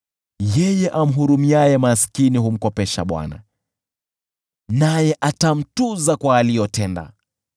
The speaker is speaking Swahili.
Yeye amhurumiaye maskini humkopesha Bwana , naye atamtuza kwa aliyotenda.